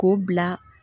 K'o bila